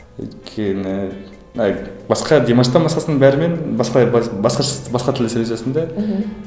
өйткені былай басқа димаштан басқасынан бәрімен басқалай басқа тілді сөйлесесің де мхм